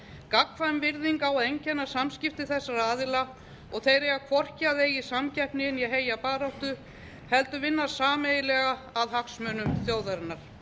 gagnkvæm virðing á að einkenna samskipti þessara aðila og þeir eiga hvorki að eiga í samkeppni né heyja baráttu heldur vinna sameiginlega að hagsmunum þjóðarinnar